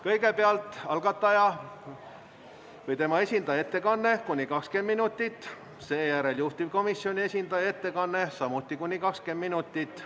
Kõigepealt on algataja või tema esindaja ettekanne, kuni 20 minutit, seejärel juhtivkomisjoni esindaja ettekanne, samuti kuni 20 minutit.